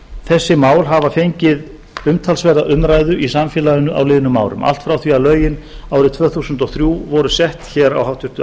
þessi mál hafa fengið umtalsverða umræðu í samfélaginu á liðnum árum allt frá því að lögin árið tvö þúsund og þrjú voru sett hér á háttvirtu